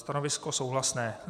Stanovisko souhlasné.